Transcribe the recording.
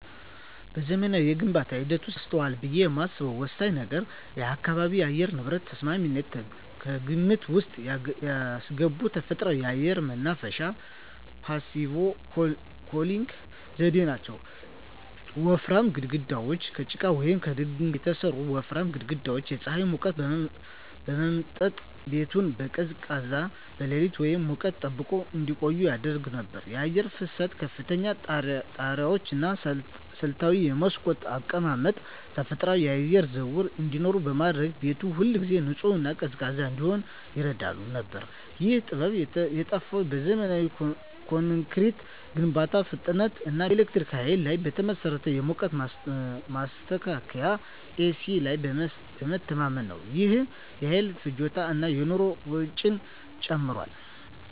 በዘመናዊው የግንባታ ሂደት ውስጥ ተረስቷል ብዬ የማስበው ወሳኝ ነገር የአካባቢ የአየር ንብረት ተስማሚነትን ከግምት ውስጥ ያስገባ ተፈጥሯዊ የአየር ማናፈሻ (Passive Cooling) ዘዴ ነው። ወፍራም ግድግዳዎች: ከጭቃ ወይም ከድንጋይ የተሠሩ ወፍራም ግድግዳዎች የፀሐይን ሙቀት በመምጠጥ ቤቱን በቀን ቀዝቃዛና በሌሊት ሙቀት ጠብቀው እንዲቆይ ያደርጉ ነበር። የአየር ፍሰት: ከፍተኛ ጣሪያዎች እና ስልታዊ የመስኮት አቀማመጥ ተፈጥሯዊ የአየር ዝውውር እንዲኖር በማድረግ ቤቱ ሁልጊዜ ንጹህና ቀዝቃዛ እንዲሆን ይረዳ ነበር። ይህ ጥበብ የጠፋው በዘመናዊ ኮንክሪት ግንባታ ፍጥነት እና በኤሌክትሪክ ኃይል ላይ በተመሠረተ የሙቀት ማስተካከያ (ኤሲ) ላይ በመተማመን ነው። ይህም የኃይል ፍጆታን እና የኑሮ ወጪን ጨምሯል።